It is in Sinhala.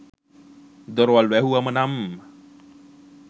දොරවල් වැහුවම නම්